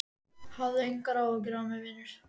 Hafðu engar áhyggjur af mér, vinur!